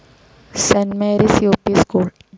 Saint Mary's U P school